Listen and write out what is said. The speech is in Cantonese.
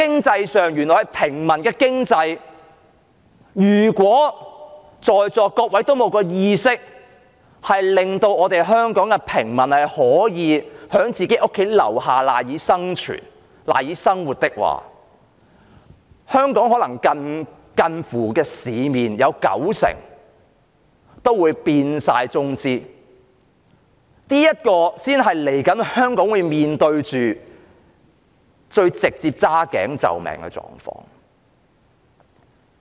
在平民經濟上，如果在座各位均沒有意識令香港的平民可以在自己的住所附近找到賴以生存和生活的空間時，香港的市面便可能會有近乎九成的企業由中資擁有，這才是香港未來需要面對最直接"揸頸就命"的狀況。